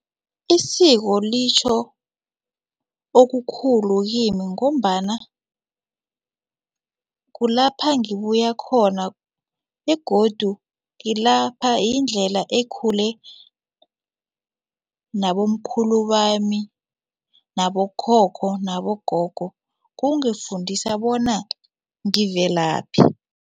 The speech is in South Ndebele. Isiko litjho okukhulu kimi ngombana kulapha ngibuya khona begodu yindlela ekhule nabomkhulu bami nabokhokho nabogogo kungifundisa bona ngivelaphi.